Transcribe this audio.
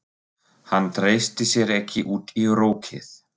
Hann treysti sér ekki út í rokið.